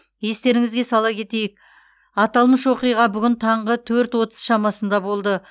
естеріңізге сала кетейік аталмыш оқиға бүгін таңғы төрт отыз шамасында болды